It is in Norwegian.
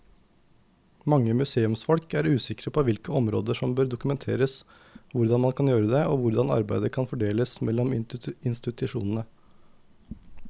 Mange museumsfolk er usikre på hvilke områder som bør dokumenteres, hvordan man kan gjøre det og hvordan arbeidet kan fordeles mellom institusjonene.